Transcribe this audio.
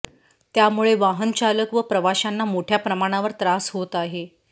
त्यामुळे वाहनचालक व प्रवाशांना मोठ्या प्रमाणावर त्रास होत आहे